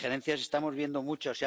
Injerencias estamos viendo muchas.